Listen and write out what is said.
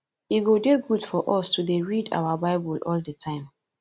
e go dey good for us to dey read our bible all the time